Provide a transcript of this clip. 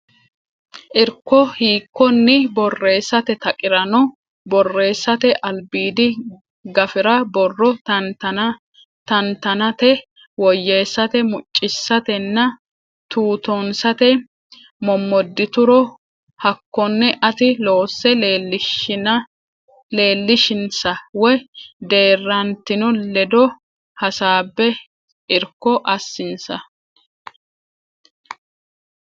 Irko hiikkonni borreessate taqirano borreessate albiidi gafira borro tantanate woyyeessate muccisatenna tuutoonsate mommoddituro Hakkonne ati loose leellishinsa woy deerrantino ledo hasaabbe irko assinsa.